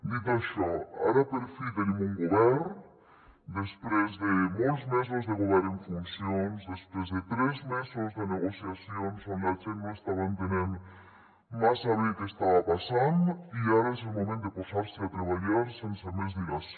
dit això ara per fi tenim un govern després de molts mesos de govern en funcions després de tres mesos de negociacions on la gent no estava entenent massa bé què estava passant i ara és el moment de posar se a treballar sense més dilació